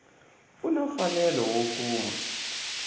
u na mfanelo wo kuma